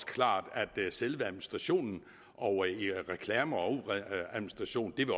klart at selve administrationen og reklamerne